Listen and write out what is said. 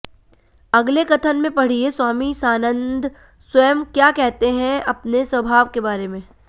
अगले कथन में पढ़िए स्वामी सानंद स्वयं क्या कहते हैं अपने स्वभाव के बारे में